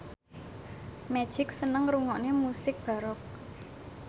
Magic seneng ngrungokne musik baroque